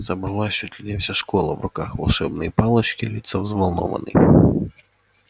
собралась чуть ли не вся школа в руках волшебные палочки лица взволнованны